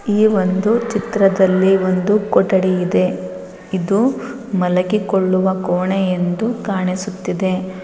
ಈ ಒಂದು ಚಿತ್ರದಲ್ಲಿ ಒಂದು ಕೊಠಡಿ ಇದೆ. ಇದು ಮಲಗಿಕೊಳ್ಳುವ ಕೋಣೆ ಎಂದು ಕಾಣಿಸುತ್ತಿದೆ.